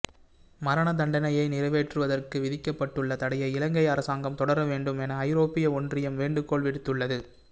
மரணதண்டணையை நிறைவேற்றுவதற்கு விதிக்கப்பட்டுள்ள தடையை இலங்கை அரசாங்கம் தொடரவேண்டும் என ஐரோப்பிய ஒன்றியம் வேண்டுகோள் விடுத்துள்ளது